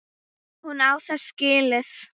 Hún á það skilið.